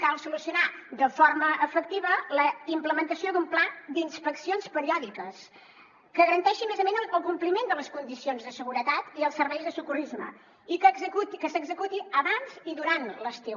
cal solucionar de forma efectiva la implementació d’un pla d’inspeccions periòdiques que garanteixi a més a més el compliment de les condicions de seguretat i els serveis de socorrisme i que s’executi abans i durant l’estiu